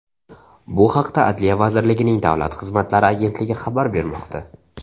Bu haqda Adliya vazirligining Davlat xizmatlari agentligi xabar bermoqda .